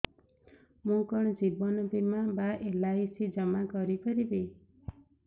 ମୁ କଣ ଜୀବନ ବୀମା ବା ଏଲ୍.ଆଇ.ସି ଜମା କରି ପାରିବି